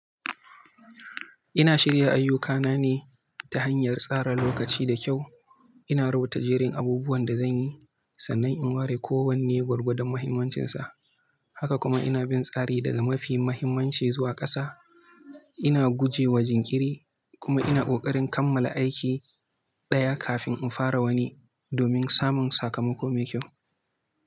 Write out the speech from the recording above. Ina shirya ayyukana ne ta hanyar tsara lokaci da kyau. Ina rubuta jerin abubuwan da zan yi, sannan in ware kowanne gwargwadon muhimmancinsa. Haka kuma ina bin tsari daga mafi mahimmanci zuwa ƙasa. Ina guje wa jinkiri kuma ina ƙoƙarin kammala aiki ɗaya kafin in fara wani domin samun sakamako mai kyau.